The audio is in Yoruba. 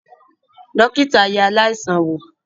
Dọ́kítá yẹ aláìsàn wò.